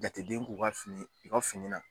Jateden k'u ka fini u ka fini na